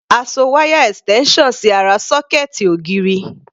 A so wáyà extension sí ará sọ́kẹ̀ẹ̀tì ògiri.